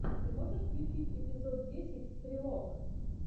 ты можешь включить эпизод десять стрелок